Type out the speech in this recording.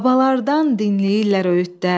Babalardan dinləyirlər öyüdlər.